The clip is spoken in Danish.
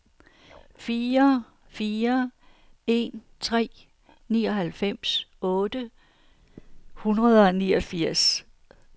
fire fire en tre nioghalvfems otte hundrede og niogfirs